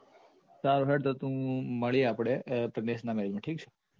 સારું હેડ તો તું મળીએ આપડે પ્રજ્ઞેશના marriage માં ઠીક છે